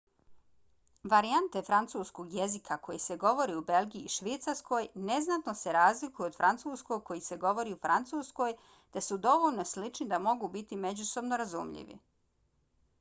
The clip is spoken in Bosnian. varijante francuskog jezika koje se govore u belgiji i švicarskoj neznatno se razlikuju od francuskog koji se govori u francuskoj te su dovoljno slični da mogu biti međusobno razumljivi